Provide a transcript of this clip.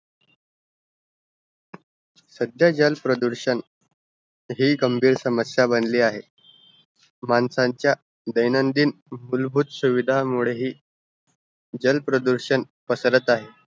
सध्या जल प्रदूषण हि गंभीर समस्या बनली आहे माणसाचा दैनंदिन उलाबूत सुविदा मुले हि जल प्रदूषण पसरत आहे